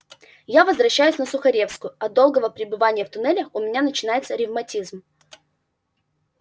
я возвращаюсь на сухаревскую от долгого пребывания в туннелях у меня начинается ревматизм